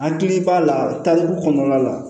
Hakili b'a la ta dugu kɔnɔna la